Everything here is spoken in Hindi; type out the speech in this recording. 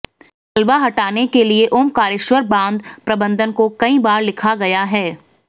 मलबा हटाने के लिए ओंकारेश्वर बांध प्रबंधन को कई बार लिखा गया है